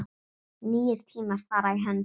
Nýir tímar fara í hönd